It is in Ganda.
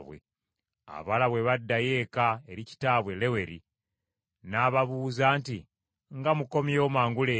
Abawala bwe baddayo eka eri kitaabwe Leweri, n’ababuuza nti, “Nga mukomyewo mangu leero?”